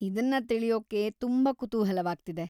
ಇದನ್ನ ತಿಳಿಯೊಕ್ಕೆ ತುಂಬಾ ಕುತೂಹಲವಾಗ್ತಿದೆ.